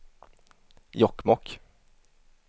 Jokkmokk